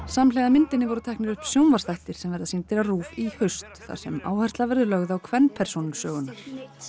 samhliða myndinni voru teknir upp sjónvarpsþættir sem verða sýndir á RÚV í haust þar sem áhersla verður lögð á kvenpersónur sögunnar